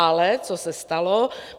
Ale co se stalo?